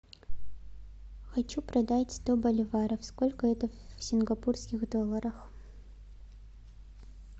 хочу продать сто боливаров сколько это в сингапурских долларах